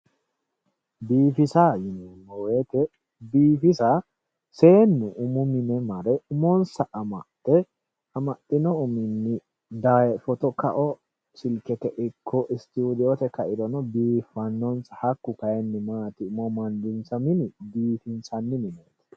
Biifisa yineemmo woyte seennu umu mine marre amaxe amaxino umo daye fotto kao silkete ikko studiote kairono biifanonsa kayinni umo amandissa mini biifissanni mineti.